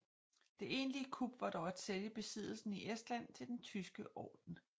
Det egentlige kup var dog at sælge besiddelsen i Estland til Den tyske Orden